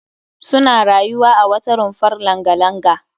Suna rayuwa a wata rumfar langa-langa